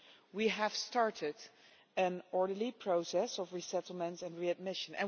We have started an orderly process of resettlement and readmission.